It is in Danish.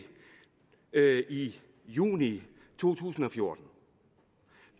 i juni to tusind og fjorten